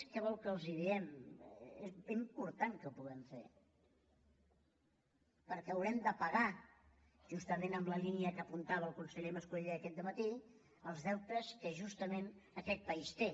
què volen que els diguem és important que ho puguem fer perquè haurem de pagar justament en la línia que apuntava el conseller mascolell aquest dematí els deutes que justament aquest país té